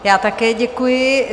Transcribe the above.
Já také děkuji.